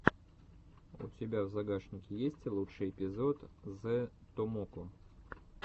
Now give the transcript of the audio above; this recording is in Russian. у тебя в загашнике есть лучший эпизод зэ томоко